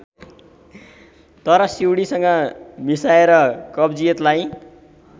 तर सिउँडीसँग मिसाएर कब्जियतलाई